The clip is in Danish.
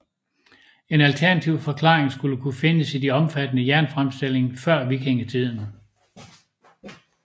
En alternativ forklaring skulle kunne findes i den omfattende jernfremstilling før vikingetiden